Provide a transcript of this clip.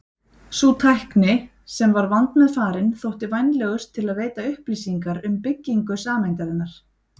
Sú tækni, sem var vandmeðfarin, þótti vænlegust til að veita upplýsingar um byggingu sameindarinnar.